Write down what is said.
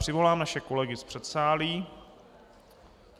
Přivolám naše kolegy z předsálí.